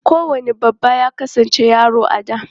Kowane babba ya kasance yaro a da.